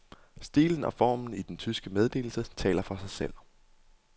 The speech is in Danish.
Stilen og formen i den tyske meddelelse taler for sig selv.